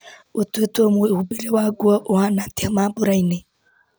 gũtuĩtwo mwĩhũmbĩre wa nguo ũhana atĩa mambura-ini